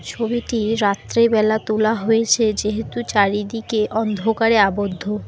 ছবিটি রাত্রেবেলা তোলা হয়েছে যেহেতু চারিদিকে অন্ধকারে আবদ্ধ।